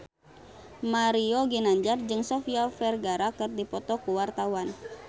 Mario Ginanjar jeung Sofia Vergara keur dipoto ku wartawan